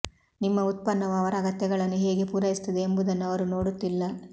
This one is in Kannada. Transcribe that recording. ನಿಮ್ಮ ಉತ್ಪನ್ನವು ಅವರ ಅಗತ್ಯಗಳನ್ನು ಹೇಗೆ ಪೂರೈಸುತ್ತದೆ ಎಂಬುದನ್ನು ಅವರು ನೋಡುತ್ತಿಲ್ಲ